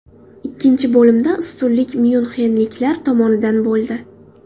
Ikkinchi bo‘limda ustunlik myunxenliklar tomonidan bo‘ldi.